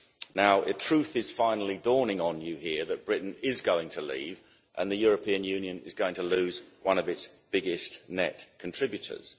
Now the truth is finally dawning on you here that Britain is going to leave and the European Union is going to lose one of its biggest net contributors.